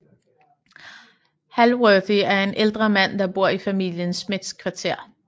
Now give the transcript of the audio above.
Hallworthy er en ældre mand der bor i familien Smiths kvarter